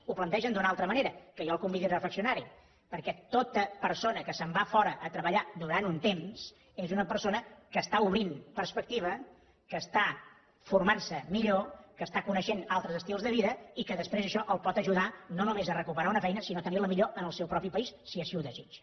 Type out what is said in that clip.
ho plantegen d’una altra manera que jo el convido a reflexionar hi perquè tota persona que se’n va a fora a treballar durant un temps és una persona que està obrint perspectiva que està formant se millor que està coneixent altres estils de vida i que després això el pot ajudar no només a recuperar una feina sinó a tenir la millor en el seu propi país si així ho desitja